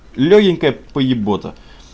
лёгенькая поебота